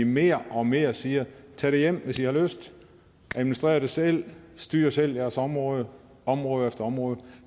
mere og mere siger tag det hjem hvis i har lyst administrer det selv styr selv jeres område område efter område